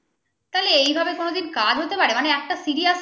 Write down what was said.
তাহলে এভাবে কোনদিন কাজ হতে পারে মানে একটা serial